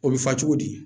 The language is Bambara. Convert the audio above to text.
O bɛ fɔ cogo di